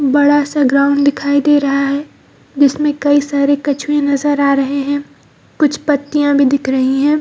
बड़ा-सा ग्राउंड दिखाई दे रहा है जिसमे कई सारे कछुए नजर आ रहे हैं कुछ पत्तियाँ भी दिख रही हैं।